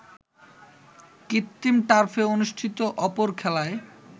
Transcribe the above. কৃত্রিম টার্ফে অনুষ্ঠিত অপর খেলায়